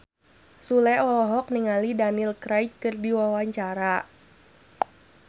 Sule olohok ningali Daniel Craig keur diwawancara